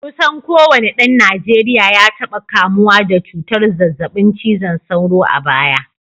Kusan kowane dan Najeriya ya taba kamuwa da cutar zazzabin cizon sauro a baya